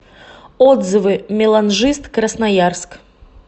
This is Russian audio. отзывы меланжист красноярск